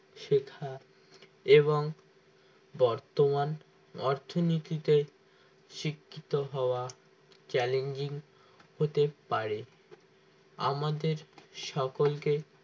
শেখা এবং বর্তমান অর্থনীতিতে শিক্ষিত হওয়া challenging হতে পারে আমাদের সকলকে